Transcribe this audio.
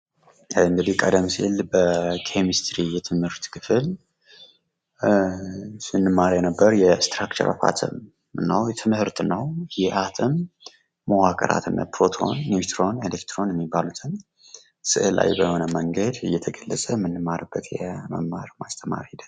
እንዲህ ቀደም ሲል በኬምስትሪ የትምህርት ክፍል ስንማር የነበረው የእስትራክቸር ኦፍ አተም ነው ። ትምህርት ነው ይህ አተም መዋቅራት እነ ፕሮቶን ፣ኒውትሮን፣ ኤሌክትሮን የሚባሉትን ስእላዊ በሆነ መንገድ እየተገለፀ የምንማርበት ማስተማር ሂደት ነው።